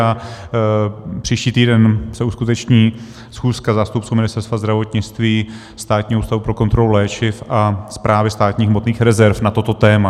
A příští týden se uskuteční schůzka zástupců Ministerstva zdravotnictví, Státního ústavu pro kontrolu léčiv a Správy státních hmotných rezerv na toto téma.